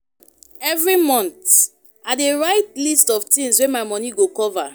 Every month, I dey write list of things wey my money go cover.